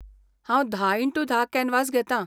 हांव धा इनटू धा कॅनवास घेतां.